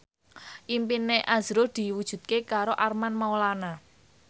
impine azrul diwujudke karo Armand Maulana